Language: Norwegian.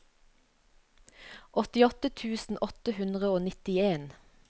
åttiåtte tusen åtte hundre og nittien